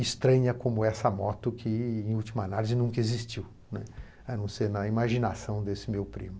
estranha como essa moto que, em última análise, nunca existiu, né, a não ser na imaginação desse meu primo.